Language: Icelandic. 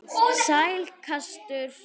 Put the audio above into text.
Sæll gæskur.